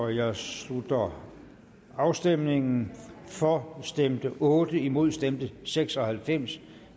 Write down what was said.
jeg slutter afstemningen for stemte otte imod stemte seks og halvfems